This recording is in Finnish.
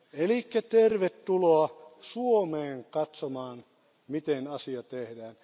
Eli tervetuloa Suomeen katsomaan, miten asiat tehdään.